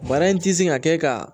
Bana in ti sin ka kɛ ka